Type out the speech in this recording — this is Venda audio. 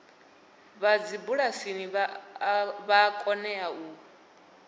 vha dzibulasini vha kone u